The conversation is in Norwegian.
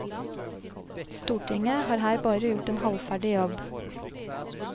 Stortinget har her bare gjort en halvferdig jobb.